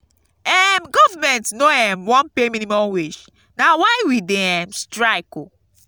um government no um wan pay minimum wage na why we dey um strike oo.